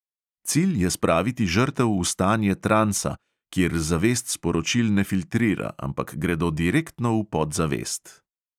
Cilj je spraviti žrtev v stanje transa, kjer zavest sporočil ne filtrira, ampak gredo direktno v podzavest.